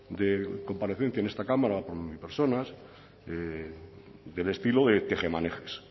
de comparecencia en esta cámara personas del estilo de tejemanejes